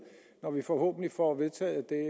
når vi forhåbentlig får vedtaget det